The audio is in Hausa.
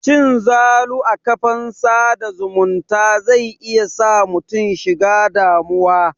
Cin zalu a kafan sa da zumunta zai iya sa mutum shiga damuwa.